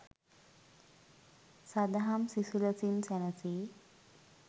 සදහම් සිසිලසින් සැනසී